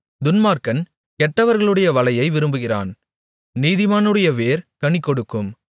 துன்மார்க்கன் கெட்டவர்களுடைய வலையை விரும்புகிறான் நீதிமானுடைய வேர் கனி கொடுக்கும்